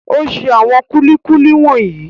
O ṣe àwọn kúlíkúlí wọ̀nyí.